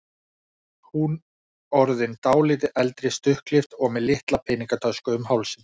Hún orðin dálítið eldri, stuttklippt og með litla peningatösku um hálsinn.